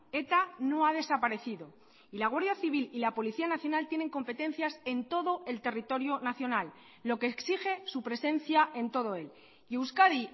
eta no ha desaparecido y la guardia civil y la policía nacional tienen competencias en todo el territorio nacional lo que exige su presencia en todo él y euskadi